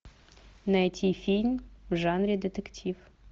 найти фильм в жанре детектив